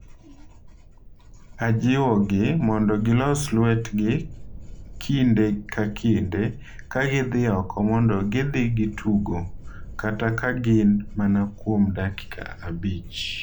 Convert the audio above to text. Ajiwogi mondo gilos lwetgi kinde ka kinde ka gidhi oko mondo gidhi gitugo, kata ka gin mana kuom dakika abich.